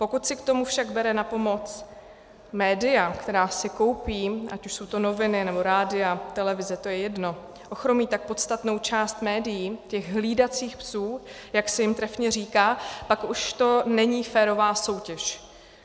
Pokud si k tomu však bere na pomoc média, která si koupí, ať už jsou to noviny, nebo rádia, televize, to je jedno, ochromí tak podstatnou část médií, těch hlídacích psů, jak se jim trefně říká, pak už to není férová soutěž.